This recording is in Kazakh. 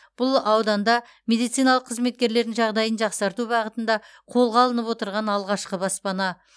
бұл ауданда мемдициналық қызметкерлердің жағдайын жақсарту бағытында қолға алынып отырған алғашқы баспана